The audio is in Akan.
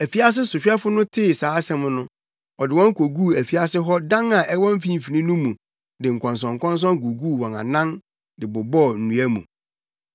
Afiase sohwɛfo no tee saa asɛm no, ɔde wɔn koguu afiase hɔ dan a ɛwɔ mfimfini no mu de nkɔnsɔnkɔnsɔn guguu wɔn anan de bobɔɔ nnua mu.